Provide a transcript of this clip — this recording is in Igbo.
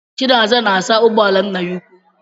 Chinasa na-asa ụgbọala nna ya ukwuu.